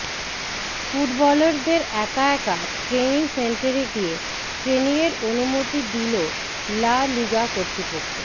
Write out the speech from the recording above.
ফুটবলারদের একা একা ট্রেনিং সেন্টারে গিয়ে ট্রেনিংয়ের অনুমতি দিল লা লিগা কর্তৃপক্ষ